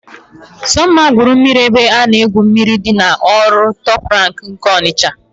Sọmma gwuru mmiri n'ebe a na-egwu mmiri dị n'ụlọ oriri Tọp Rank nke Ọnịsha.